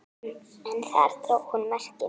En þar dró hún mörkin.